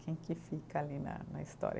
Quem que fica ali na na história?